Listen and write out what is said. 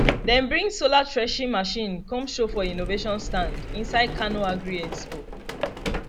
dem bring solar threshing machine come show for innovation stand inside kano agri expo